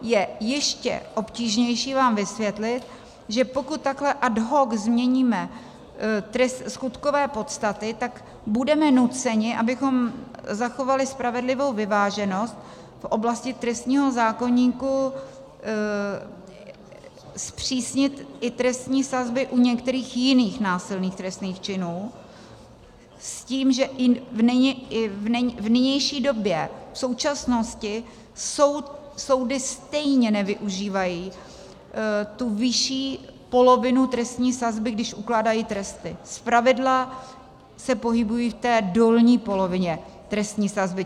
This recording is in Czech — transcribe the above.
Je ještě obtížnější vám vysvětlit, že pokud takhle ad hoc změníme skutkové podstaty, tak budeme nuceni, abychom zachovali spravedlivou vyváženost v oblasti trestního zákoníku, zpřísnit i trestní sazby u některých jiných násilných trestných činů, s tím, že i v nynější době, v současnosti, soudy stejně nevyužívají tu vyšší polovinu trestní sazby, když ukládají tresty, zpravidla se pohybují v té dolní polovině trestní sazby.